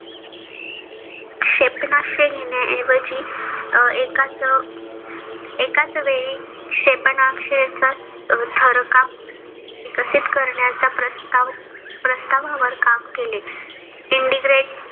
क्षेपणास्त्र न्हेण्या एवजी एकाच एकाच वेळी क्षेपणास्त्रे थरकाप विकसित करण्याच्या प्रस्ताव प्रस्तावावर काम केले. indigrade